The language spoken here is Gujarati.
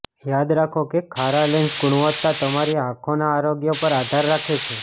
યાદ રાખો કે ખારા લેન્સ ગુણવત્તા તમારી આંખો ના આરોગ્ય પર આધાર રાખે છે